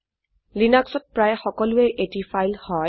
লিনাক্সত প্রায়ে সকলোয়ে এটি ফাইল হয়